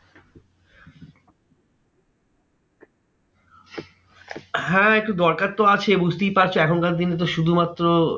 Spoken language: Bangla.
হ্যাঁ একটু দরকার তো আছে বুঝতেই পারছো এখনকার দিনে তো শুধুমাত্র